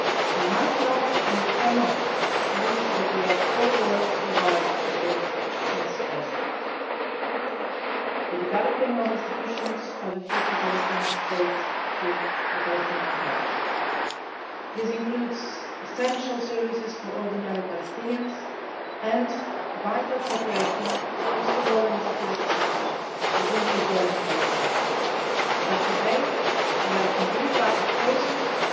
We must not, and we cannot, lose what we have all worked so hard to build since Oslo the development of institutions of a future Palestinian State through the Palestinian Authority. This includes essential services for ordinary Palestinians and vital cooperation, first of all in the security sector, between Israel and Palestine. But today we have a complete lack of process